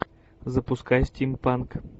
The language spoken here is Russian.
запускай стимпанк